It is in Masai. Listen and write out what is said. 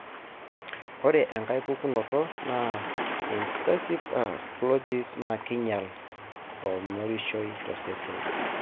ore enkae pukunoto na invasive aspergillosis, na kinyial imorioshi tosesen.